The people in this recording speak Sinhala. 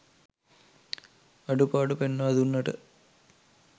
අඩු පාඩු පෙන්වා දුන්නට